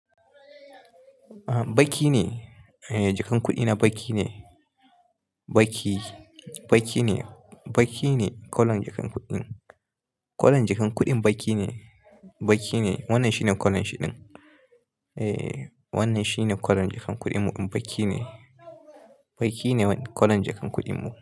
Baƙi ne, eh jakan kuɗi na baƙi ne, baƙi, baƙi ne, baƙi ne kwalon jakan kuɗin. Kwalon jakan kuɗin baƙi ne, baƙi ne, wannan shine kwalon shi din. Eh wannan shine kwalon jakan kuɗin mu ɗin baƙi ne, baƙi ne kwalon jakan kuɗin mu.